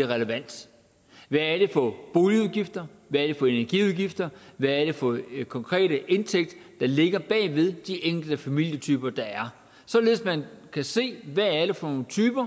er relevant hvad er det for boligudgifter hvad er det for energiudgifter hvad er det for en konkret indtægt der ligger bag ved de enkelte familietyper der er således at man kan se hvad det er for nogle typer